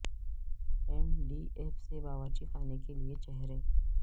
M D F سے باورچی خانے کے لئے چہرے